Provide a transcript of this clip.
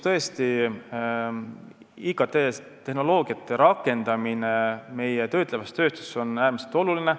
Tõesti, IKT rakendamine meie töötlevas tööstuses on äärmiselt oluline.